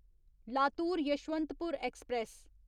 Latur Yesvantpur express